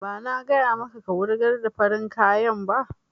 Ba na gaya maka ka wurgar da farin kayan ba!